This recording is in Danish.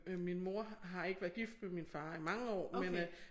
Øh min mor har ikke været gift med min far i mange år men øh